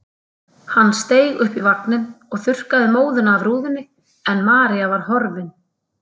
Hann steig upp í vagninn og þurrkaði móðuna af rúðunni en María var horfin.